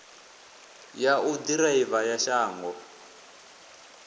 ya u ḓiraiva ya shango